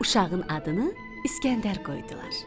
Uşağın adını İskəndər qoydular.